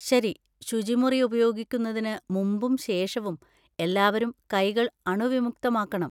ശരി! ശുചിമുറി ഉപയോഗിക്കുന്നതിന് മുമ്പും ശേഷവും എല്ലാവരും കൈകൾ അണുവിമുക്തമാക്കണം.